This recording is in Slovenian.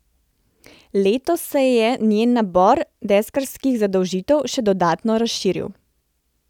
Letos se je njen nabor deskarskih zadolžitev še dodatno razširil.